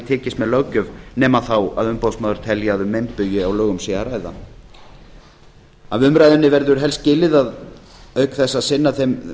tekist með löggjöf nema þá að umboðsmaður telji að um meinbugi á lögum sé að ræða af umræðunni verður helst skilið að auk þess að sinna þeim